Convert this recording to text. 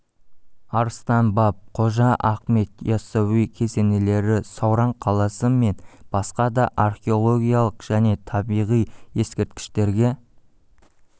арыстан баб қожа ахмет яссауи кесенелері сауран қаласы мен басқа да археологиялық және табиғи ескерткіштерге